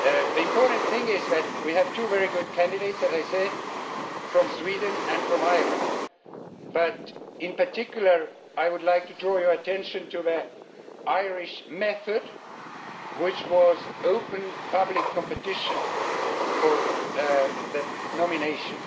The important thing is that we have two very good candidates, as I said, from Sweden and from Ireland, but in particular, I would like to draw your attention to the Irish method, which was an open public competition for the nomination.